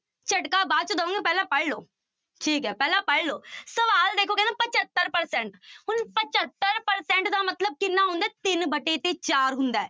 ਝਟਕਾ ਬਾਅਦ ਚ ਦਊਂ ਪਹਿਲਾਂ ਪੜ੍ਹ ਲਓ, ਠੀਕ ਹੈ ਪਹਿਲਾਂ ਪੜ੍ਹ ਲਓ ਸਵਾਲ ਦੇਖੋ ਕਹਿੰਦੇ ਪਜੱਤਰ percent ਹੁਣ ਪਜੱਤਰ percent ਦਾ ਮਤਲਬ ਕਿੰਨਾ ਹੁੰਦਾ ਹੈ ਤਿੰਨ ਵਟੇ ਤੇ ਚਾਰ ਹੁੰਦਾ ਹੈ।